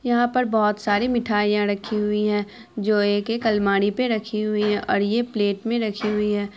यहाँ पर बोहुत सारी मिठाईयाँ रखी हुई है जो एक-एक अलमारी पे रखी हुई है और ये प्लेट में रखी हुई है ।